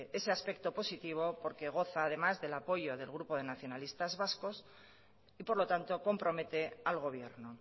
ese aspecto positivo porque goza además del apoyo del grupo de nacionalistas vascos y por lo tanto compromete al gobierno